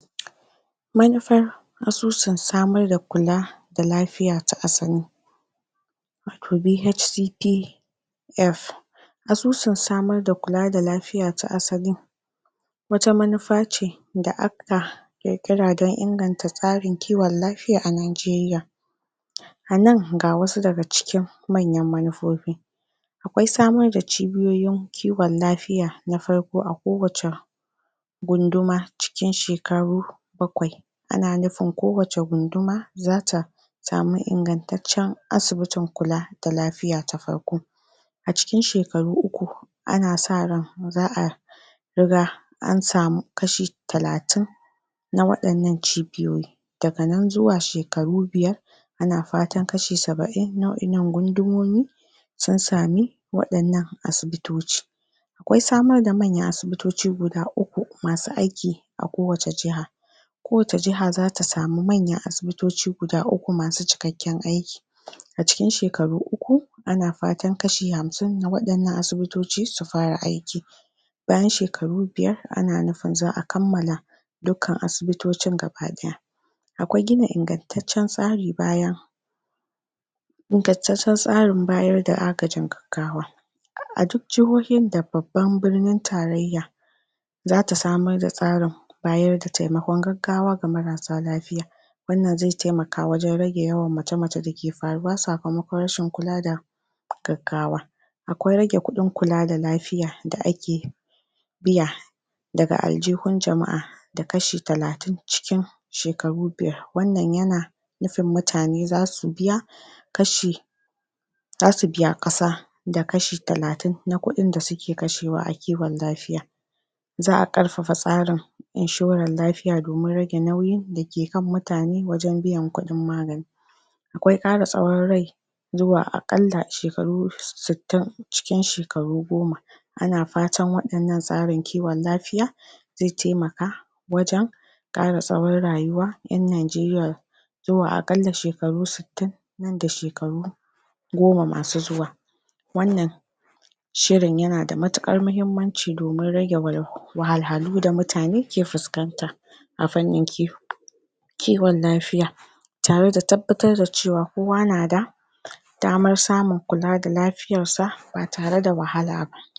Manufar asusun samar da kula da lafiya ta asali, wato BHTP F. Asusun samar da kula da lafiya ta asali; wata manufa ce da aka ƙiƙira don inganta tsarin kiwon lafiya a Najeriya. A nan, ga wasu daga cikin manyan manufofi. Akwai samar da cibiyoyin kiwon lafiya na farko a ko wacce gunduma, cikin shekaru bakwai. Ana nufin ko wacce gunduma zata samu ingantaccen asibitin kula da lafiya ta farko. A cikin shekaru uku, ana sa ran za a riga an samu kashi talatin, na waɗan nan cibiyoyi. Daga nan zuwa shekaru biyar, ana fatan kashi sab'in na wa'innan gundumomi, sun sami waɗan nan asibitoci. Akwai samar da manyan asibitoci guda uku, masu aiki a ko wace jiha. Ko wacce jaha zata samun manyan asibitoci guda uku, masu cikakken aiki. A cikin shekaru uku, ana fatan kaso hamsin na waɗan nan asibitoci su fara aiki. Bayan shekaru biyar, ana nufin za a kammala dukkan asibitocin gaba ɗaya. Akwai gina? ingantaccen tsarin bayar da agajin gaggawa, a duk jihohin da babban birnin tarayya zata samar da tsarin bayar da taimakon gaggawa ga marasa lafiya. Wannan zai taimaka wajen rage yawan macece da ke faruwa, sakamakon rashin kula da gaggawa. Akwai rage kuɗin kula da lafiya da ake biya daga aljihu jama'a, da kashi talatin cikin cikin shekaru biyar. Wannan yana nufin mutane zasu biya?? ƙasa da kashi talatin, na ƙuɗin da suke kashewa na kiwon lafiya. Za a ƙarfafa inshoran lafiya domin rage nauyin da ke kan mutane, wajen biyan kuɗin magani. Akwai ƙara tsawon rai zuwa aƙalla shekaru sittin, cikin shekaru goma. Ana fatan waɗan nan tsarin kiwon lafiya, zai taimaka wajen ƙara tsawon rayuwan ƴan Najeriya, zuwa aƙalla shekaru sittin, nan da shekaru goma masu zuwa. Wannan shirin yana da matuƙar muhimmanci, domin rage? wahalhalu da mutane ke fuskanta a fannin? kiwon lafiya, tare da tabbatar da cewa kowa na da damar samun kula da lafiyar sa, ba tare da wahala ba.